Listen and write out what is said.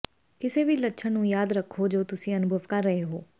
ਕਿਸੇ ਵੀ ਲੱਛਣ ਨੂੰ ਯਾਦ ਰੱਖੋ ਜੋ ਤੁਸੀਂ ਅਨੁਭਵ ਕਰ ਰਹੇ ਹੋ